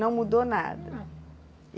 Não mudou nada.